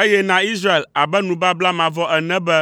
eye na Israel abe nubabla mavɔ ene be,